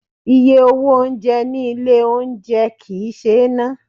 Iye owó oúnjẹ ní ilé oúnjẹ kì ń ṣe ná.